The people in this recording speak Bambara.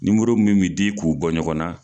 mun min di k'u bɔ ɲɔgɔn na